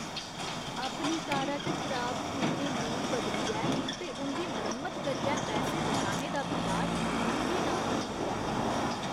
अपनी कारा च खराब पुर्जे नेईं बदलियै ते उं'दी मरम्मत करियै पैसे बचाने दा बिचार मिगी नामंजूर ऐ।